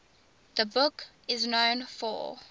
the book is known for